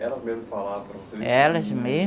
Elas mesmas falavam para você? Elas